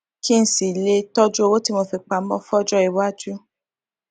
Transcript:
kí n sì lè tọjú owó tí mo fi pamó fọjọiwájú